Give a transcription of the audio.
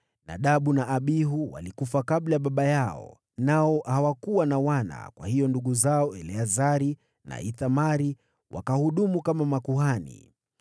Nadabu na Abihu walikufa kabla ya baba yao, nao hawakuwa na wana; kwa hiyo ndugu zao Eleazari na Ithamari wakahudumu kama makuhani.